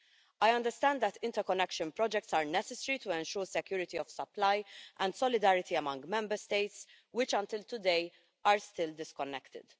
I understand that interconnection projects are necessary to ensure security of supply and solidarity among Member States, which until today are still disconnected